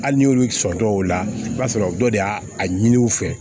Hali n'olu sɔn o la i b'a sɔrɔ dɔ de y'a a ɲini u fɛ